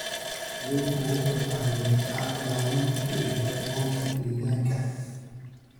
Kalluunku wuxuu caawiyaa ilaalinta dheelitirnaanta deegaanka.